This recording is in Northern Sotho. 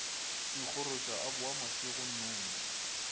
ikgoroša a boa mašego nnono